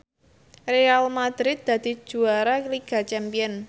Real madrid dadi juara liga champion